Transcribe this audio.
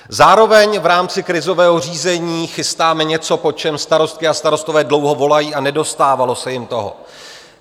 Zároveň v rámci krizového řízení chystáme něco, po čem starostky a starostové dlouho volají, a nedostávalo se jim toho.